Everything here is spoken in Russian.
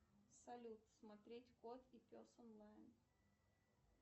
салют смотреть кот и пес онлайн